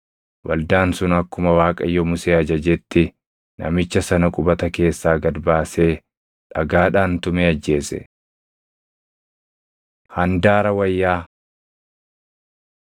Waldaan sun akkuma Waaqayyo Musee ajajetti namicha sana qubata keessaa gad baasee dhagaadhaan tumee ajjeese. Handaara Wayyaa